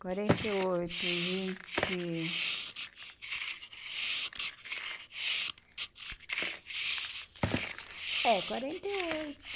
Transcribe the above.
Quarenta e oito e vinte... É, quarenta e oito.